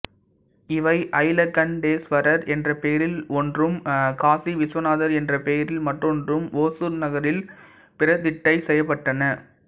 இவை ஜலகண்டேசுவரர் என்ற பெயரில் ஒன்றும் காசி விசுவநாதர் என்ற பெயரில் மற்றொன்றும் ஒசூர் நகரில் பிரதிட்டை செய்யப்பட்டன